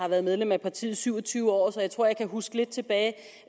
har været medlem af partiet i syv og tyve år så jeg tror jeg kan huske lidt tilbage